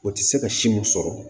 O tɛ se ka si mun sɔrɔ